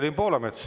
Evelin Poolamets.